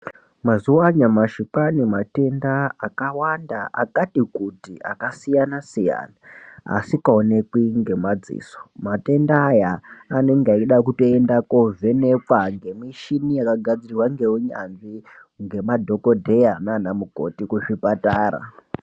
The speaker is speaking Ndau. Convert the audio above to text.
Mazuwa anyamashi kwava nematenda akawanda akati kuti akasiyana siyana asikaonekwi ngemadziso. Matenda aya anenge achida kutoenda kovhenekwa ngemichini yakagadzirwa ngeunyanzvi ngemadhokodheya nanamukoti kuzvipatara.